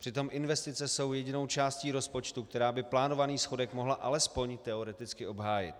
Přitom investice jsou jedinou částí rozpočtu, která by plánovaný schodek mohla alespoň teoreticky obhájit.